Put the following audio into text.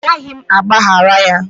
A gaghị m agbaghara ya